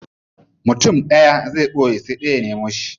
Mutum daya zai boye sai dayan ya nemo shi.